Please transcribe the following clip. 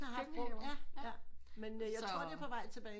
Køkkenhave jaer men jeg tror det er på vej tilbage